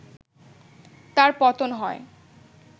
তার পতন হয়